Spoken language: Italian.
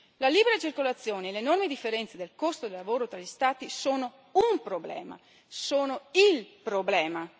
La libera circolazione e l'enorme differenza del costo del lavoro tra gli Stati sono un problema, sono il problema.